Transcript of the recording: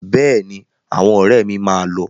Bẹ́ẹ̀ni, àwọn ọ̀rẹ́ mi máa lọ.